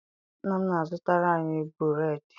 Nna m na-azụtara anyị bụreedị.